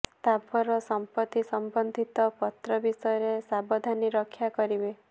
ସ୍ଥାବର ସଂପତ୍ତି ସମ୍ବନ୍ଧିତ ପତ୍ର ବିଷୟରେ ସାବଧାନୀ ରକ୍ଷା କରିବେ